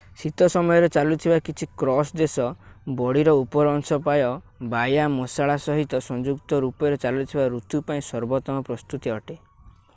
ଶୀତ ସମୟରେ ଚାଲୁଥିବା କିଛି କ୍ରସ୍ ଦେଶ ବଡିର ଉପର ଅଂଶ ପାଇଁ ବ୍ୟାୟାମଶାଳା ସହିତ ସଂଯୁକ୍ତ ରୂପରେ ଚାଲୁଥିବା ଋତୁ ପାଇଁ ସର୍ବୋତ୍ତମ ପ୍ରସ୍ତୁତି ଅଟେ